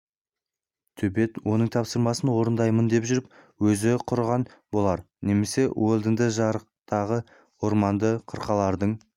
төбет оның тапсырмасын орындаймын деп жүріп өзі құрыған болар немесе уэлдонды жырақтағы орманды қырқалардың